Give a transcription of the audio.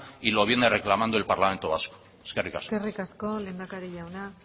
y lo viene reclamando el parlamento vasco eskerrik asko eskerrik asko lehendakari jauna